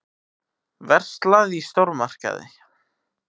Verslað í stórmarkaði.